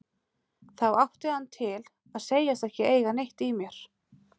Þá átti hann það til að segjast ekki eiga neitt í mér.